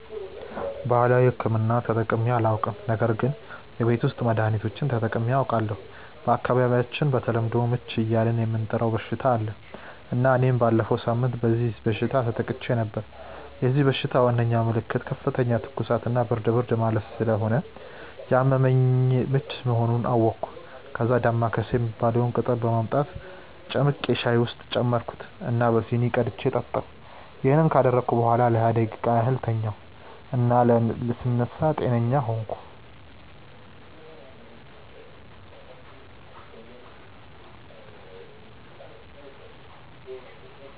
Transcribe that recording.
ባህላዊ ሕክምና ተጠቅሜ አላውቅም ነገር ግን የቤት ውስጥ መድሀኒቶችን ተጠቅሜ አውቃለሁ። በአካባቢያቸው በተለምዶ "ምች" እያልን የምንጠራው በሽታ አለ እና እኔም ባለፈው ሳምንት በዚህ በሽታ ተጠቅቼ ነበር። የዚህ በሽታ ዋናው ምልክት ከፍተኛ ትኩሳት እና ብርድ ብርድ ማለት ስለሆነ ያመመኝ ምች መሆኑን አወቅኩ። ከዛ "ዳማከሴ" የሚባለውን ቅጠል በማምጣት ጨምቄ ሻይ ውስጥ ጨመርኩት እና በሲኒ ቀድቼ ጠጣሁ። ይሄን ካደረግኩ በኋላ ለሃያ ደቂቃ ያህል ተኛሁ እና ስነሳ ጤነኛ ሆንኩ።